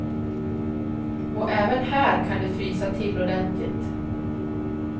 Och även här kan det frysa till ordentligt.